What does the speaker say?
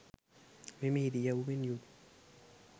මෙම ඉරියව්වෙන් යුත්